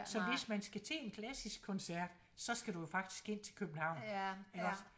Så hvis man skal til en klassisk koncert så skal du jo faktisk ind til København iggås